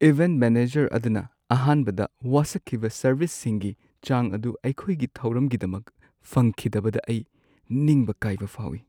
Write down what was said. Event manager ꯑꯗꯨꯅ ꯑꯍꯥꯟꯕꯗ ꯋꯥꯁꯛꯈꯤꯕ ꯁꯔꯚꯤꯁꯁꯤꯡꯒꯤ ꯆꯥꯡ ꯑꯗꯨ ꯑꯩꯈꯣꯏꯒꯤ ꯊꯧꯔꯝꯒꯤꯗꯃꯛ ꯐꯪꯈꯤꯗꯕꯗ ꯑꯩ ꯅꯤꯡꯕ ꯀꯥꯏꯕ ꯐꯥꯎꯏ꯫